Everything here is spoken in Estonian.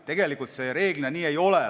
Tegelikult see üldiselt nii ei ole.